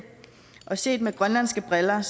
set med grønlandske briller